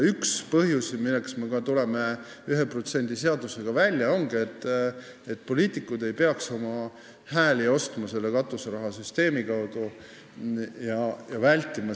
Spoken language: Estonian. Üks põhjuseid, miks me tulime 1% seadusega välja, ongi see, et poliitikud ei peaks katuseraha süsteemi kaudu hääli ostma.